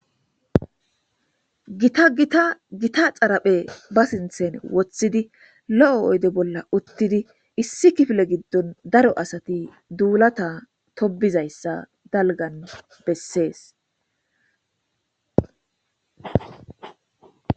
GittaGitta gitta xaripheza baa sinithani wothidi lo'o oyidde bolla uttidi issi kifile giddoni darro assati dullata tobidayissa bessesi.